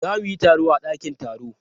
Za mu yi taro a dakin taro.